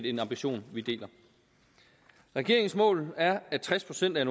en ambition vi deler regeringens mål er at tres procent af